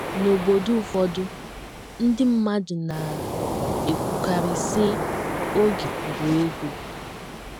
N’obodo ụfọdụ, ndị mmadụ na - ekwukarị, sị, Oge bụ ego.